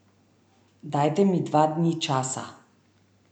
Dajte mi dva dni časa.